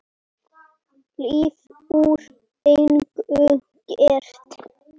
Líf úr engu gert.